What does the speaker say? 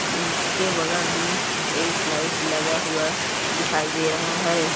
इसके बगल मे एक लाइट लगा हुआ दिखई दे रहा है ।